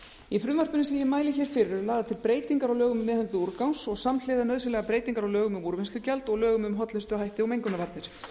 í frumvarpinu sem ég mæli hér fyrir eru lagðar til breytingar á lögum um meðhöndlun úrgangs og samhliða nauðsynlegar breytingar á lögum um úrvinnslugjald og lögum um hollustuhætti og mengunarvarnir